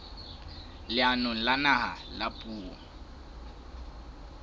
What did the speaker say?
leanong la naha la puo